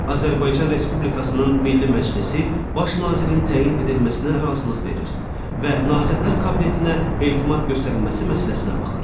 Azərbaycan Respublikasının Milli Məclisi Baş nazirin təyin edilməsinə razılıq verir və Nazirlər Kabinetinə etimad göstərilməsi məsələsinə baxır.